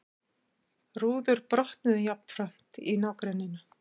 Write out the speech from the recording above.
Rúður brotnuðu jafnframt í nágrenninu